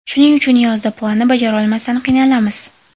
Shuning uchun yozda planni bajarolmasdan qiynalamiz.